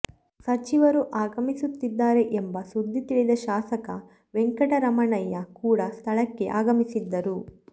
ಸಚಿವರು ಆಗಮಿಸುತ್ತಿದ್ದಾರೆ ಎಂಬ ಸುದ್ದಿ ತಿಳಿದ ಶಾಸಕ ವೆಂಕಟರಮಣಯ್ಯ ಕೂಡ ಸ್ಥಳಕ್ಕೆ ಆಗಮಿಸಿದ್ದರು